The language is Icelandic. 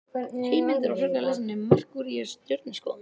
Heimildir og frekara lesefni: Merkúríus- Stjörnuskoðun.